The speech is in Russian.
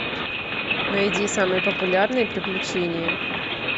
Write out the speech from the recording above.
найди самые популярные приключения